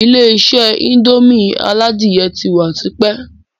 Ilé-isé indomie aládìyẹ ti wà tipẹ́